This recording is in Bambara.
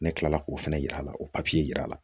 Ne kila la k'o fɛnɛ yira la o yira la